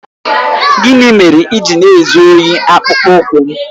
Gịnị mere i ji na-ezu ohi akpụkpọ ụkwụ m?